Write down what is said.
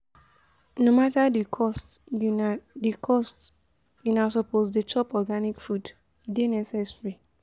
No mata di cost una di cost, una suppose dey chop organic food, e dey necessary.